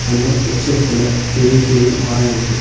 அந்த எஸ்டேட் குள்ள பெரிய பெரிய மரோ இருக்கு.